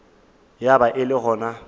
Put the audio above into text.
ya ba e le gona